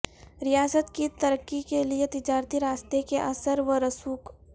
ریاست کی ترقی کے لئے تجارتی راستے کے اثر و رسوخ